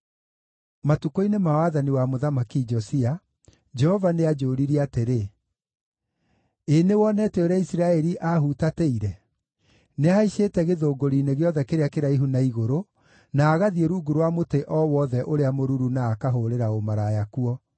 Matukũ-inĩ ma wathani wa Mũthamaki Josia, Jehova nĩanjũririe atĩrĩ: “Ĩĩ nĩwonete ũrĩa Isiraeli aahutatĩire? Nĩahaicĩte gĩthũngũri-inĩ gĩothe kĩrĩa kĩraihu na igũrũ, na agathiĩ rungu rwa mũtĩ o wothe ũrĩa mũruru na akahũũrĩra ũmaraya kuo.